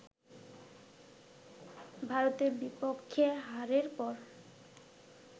ভারতের বিপক্ষে হারের পর